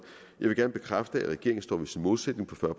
jeg vil gerne bekræfte at regeringen står ved sin målsætning på fyrre